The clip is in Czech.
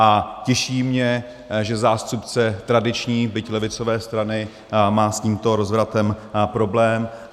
A těší mě, že zástupce tradiční, byť levicové strany má s tímto rozvratem problém.